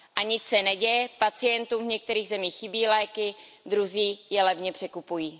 A nic se neděje, pacientům v některých zemích chybí léky, druzí je levně překupují.